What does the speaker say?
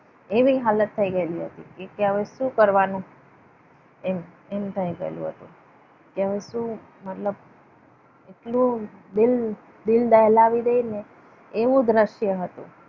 એવી હાલત થઈ ગયેલી હતી એ કે હવે શું કરવાનું? એમ એમ થઈ ગયેલું હતું કે હવે શું મતલબ એટલું દિલ દિલ દહેલાવી દેને એવું દ્રશ્ય હતું.